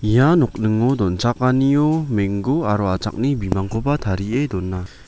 ia nokningo donchakanio menggo aro achakni bimangkoba tarie dona.